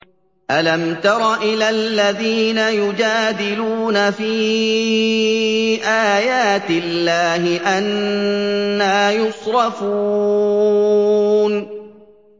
أَلَمْ تَرَ إِلَى الَّذِينَ يُجَادِلُونَ فِي آيَاتِ اللَّهِ أَنَّىٰ يُصْرَفُونَ